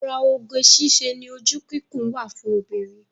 Ara oge síṣe ni ojú kíkún wa fún obìnrin